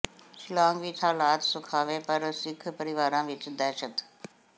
ਸ਼ਿਲਾਂਗ ਵਿੱਚ ਹਾਲਾਤ ਸੁਖਾਵੇਂ ਪਰ ਸਿੱਖ ਪਰਿਵਾਰਾਂ ਵਿੱਚ ਦਹਿਸ਼ਤ